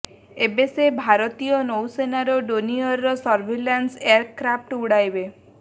ଏବେ ସେ ଭାରତୀୟ ନୌସେନାର ଡୋନିୟର ସର୍ଭିଲାନ୍ସ ଏୟାରକାଫ୍ଟ ଉଡ଼ାଇବେ